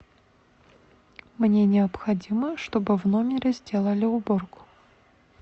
мне необходимо чтобы в номере сделали уборку